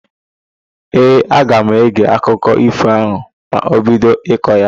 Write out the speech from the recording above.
Ee, aga m ege akụkọ ífò ahụ ma o bido ịkọ ya.